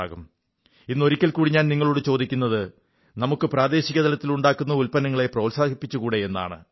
ഇന്ന് ഒരിക്കൽ കൂടി ഞാൻ നിങ്ങളോടു ചോദിക്കുന്നത് നമുക്ക് പ്രാദേശിക തലത്തിൽ ഉണ്ടാക്കുന്ന ഉത്പന്നങ്ങളെ പ്രോത്സാഹിപ്പിച്ചുകൂടേ എന്നാണ്